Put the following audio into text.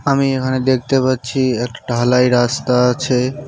আমি এখানে দেখতে পাচ্ছি এক ঢালাই রাস্তা আছে।